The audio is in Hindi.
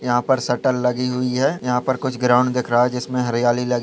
यहाँ पर शटर लगी हुई है यहाँ पर कुछ ग्राउंड दिख रहा है जिसमें हरियाली लगी--